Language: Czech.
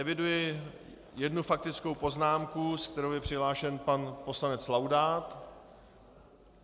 Eviduji jednu faktickou poznámku, se kterou je přihlášen pan poslanec Laudát.